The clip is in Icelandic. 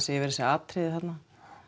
yfir þessi atriði þarna